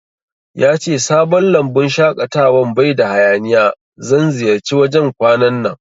Yace sabon lambun shaƙatawan baida hayaniya, zan ziyarci wajan kwanan nan